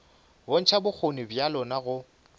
bontšha bokgoni bja lona go